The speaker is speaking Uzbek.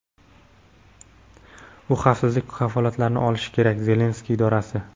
u xavfsizlik kafolatlarini olishi kerak – Zelenskiy idorasi.